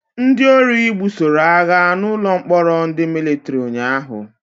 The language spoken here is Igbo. Ndị ori gbusoroagha na ụlọ mkpọrọ ndị Mịlịtrị ụnyaahụ